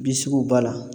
Bi sugu b'a la